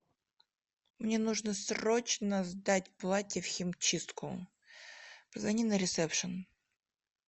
мне нужно срочно сдать платье в химчистку позвони на ресепшн